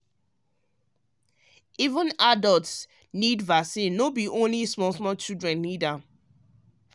um even adult dey need vaccine no be only small small children need am.